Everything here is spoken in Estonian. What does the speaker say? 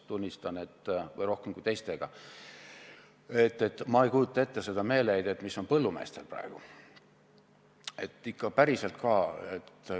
Ma ausalt öeldes tunnistan, et ma ei kujuta ette meeleheidet, mis on praegu põllumeestel.